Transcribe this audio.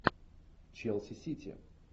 челси сити